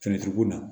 Sɛnɛkɛko la